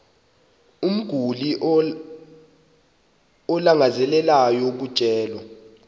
umguli alangazelelayo ukutyelelwa